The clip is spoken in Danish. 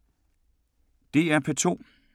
DR P2